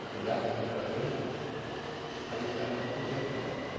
Se pegasse a juta verde, aí o cara não podia pagar a conta.